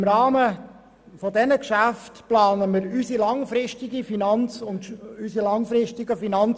Im Rahmen dieser Geschäfte werden wir unsere langfristigen Finanz- und Steuergeschäfte planen.